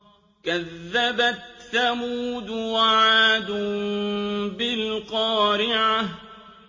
كَذَّبَتْ ثَمُودُ وَعَادٌ بِالْقَارِعَةِ